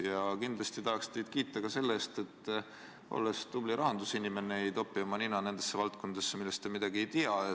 Ja kindlasti tahaks teid kiita ka selle eest, et olles tubli rahandusinimene, ei topi te oma nina nendesse valdkondadesse, millest te midagi ei tea.